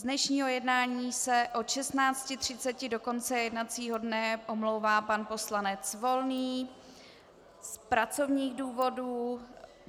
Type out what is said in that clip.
Z dnešního jednání se od 16.30 do konce jednacího dne omlouvá pan poslanec Volný z pracovních důvodů.